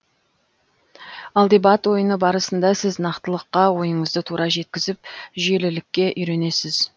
ал дебат ойыны барысында сіз нақтылыққа ойыңызды тура жеткізіп жүйелілікке үйренесіз